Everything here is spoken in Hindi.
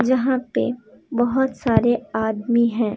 यहां पे बहुत सारे आदमी हैं।